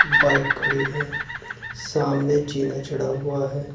Bike खड़ी है सामने जीना चढ़ा हुआ है।